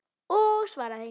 Og svara því.